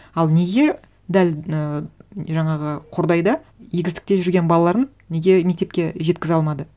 ал неге дәл ы жаңағы қордайда егістікте жүрген балаларын неге мектепке жеткізе алмады